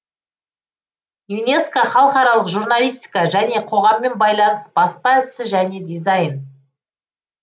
юнеско халықаралық журналистика және қоғаммен байланыс баспа ісі және дизайн